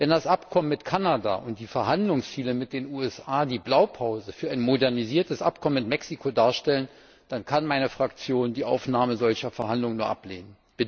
Wenn das Abkommen mit Kanada und die Verhandlungsziele mit den USA die Blaupause für ein modernisiertes Abkommen mit Mexiko darstellen, dann kann meine Fraktion die Aufnahme solcher Verhandlungen nur ablehnen.